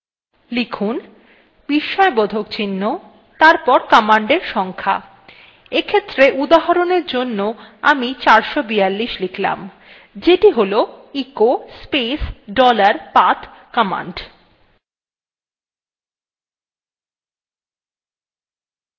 লিখুন বিস্ময়বোধক চিহ্ন তারপর command সংখ্যা এক্ষেত্রে উদাহরণ এর জন্য আমি 442 লিখলাম যেটি হল echo space dollar path command